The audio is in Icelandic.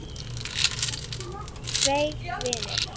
Tveir vinir